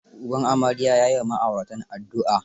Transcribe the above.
Uban amarya ya yi wa ma'auratan addua.